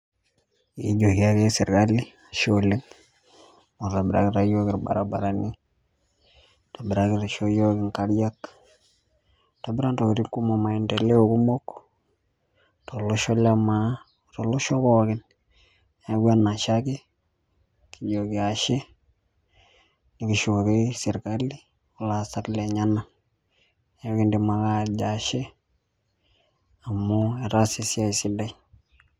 Ekijoki ake sirkali ashe oleng. Amu itobirakitia yiok irbaribarani, nishoo yiok inkariak, itobira intokiting kumok maendeleo kumok, tolosho le maa, tolosho pookin. Neeku enashe ake, kijoki ashe, nikishukoki sirkali olaasak lenyanak. Neku kidim ake atejo ashe, amu etaasa esiai sidai.